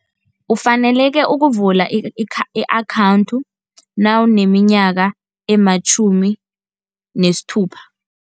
Ufanele-ke ukuvula i-akhawunthi nawuneminyaka ematjhumi nesithupa.